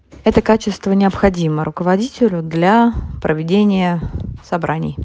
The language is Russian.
это качества необходимые руководителю для проведения собраний